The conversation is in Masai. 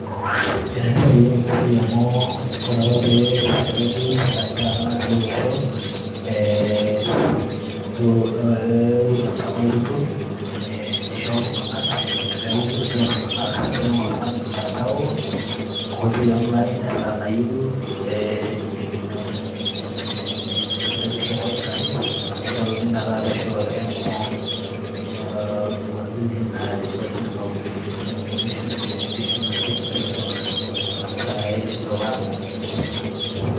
Ene tipat ena siai amu ore apa pelotu sirkali taata natii taata olosho ee William Samoei Ruto ,ee nishoo iltunganak peeku kitumia iltunganak , kejing oltungani mtandao , enkoitoi e online esaa nayieu , neitu inyiangu vipeperushi e wifi , nishoruni metaa pesho